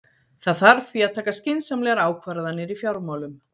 Það þarf því að taka skynsamlegar ákvarðanir í fjármálum.